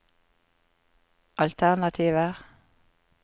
alternativer